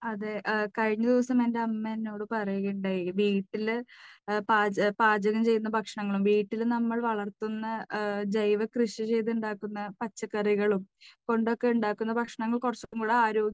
അതേ, കഴിഞ്ഞദിവസം എൻറെ അമ്മ എന്നോട് പറയുകയുണ്ടായി. വീട്ടിൽ പാച, പാചകം ചെയ്യുന്ന ഭക്ഷണങ്ങളും, വീട്ടിൽ നമ്മൾ വളർത്തുന്ന, ജൈവ കൃഷി ചെയ്ത് ഉണ്ടാക്കുന്ന പച്ചക്കറികളും കൊണ്ടൊക്കെ ഉണ്ടാക്കുന്ന ഭക്ഷണങ്ങൾ കുറച്ചുകൂടെ ആരോഗ്യ